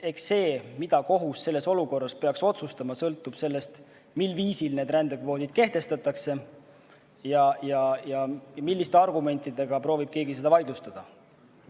Eks see, mida kohus selles olukorras peaks otsustama, sõltub sellest, mil viisil need rändekvoodid kehtestatakse ja milliste argumentidega proovib keegi seda vaidlustada.